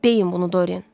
Deyin bunu, Dorian.